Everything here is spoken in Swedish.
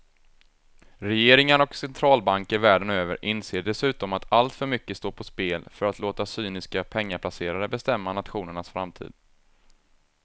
Regeringar och centralbanker världen över inser dessutom att alltför mycket står på spel för att låta cyniska pengaplacerare bestämma nationernas framtid.